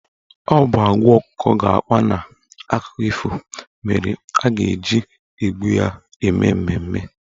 Ọ bụ agwa ọkụkọ ga-akpa n'akụkọ ifo mere a ga-eji egbu ya eme mmemme.